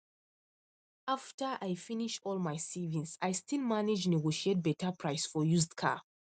after i finish all my savings i still manage negotiate better price for used car